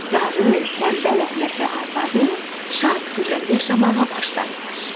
Qarı, tənbəl Əhməd və arvadı şad xürrəm yaşamağa başladılar.